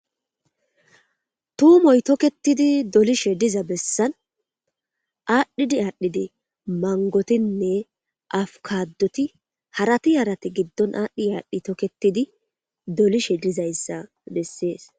tuumoy tokketidi dolishe diza bessan aadhdhidi aadhdhidi mangotinne afukadoti harati yarati giddon aadhdhi aadhdhi toketidi dolishe dizayssa bessees